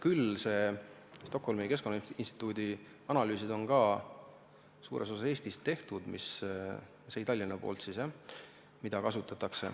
Need Stockholmi Keskkonnainstituudi analüüsid, mida kasutatakse, on ka suures osas Eestis tehtud, Tallinnas.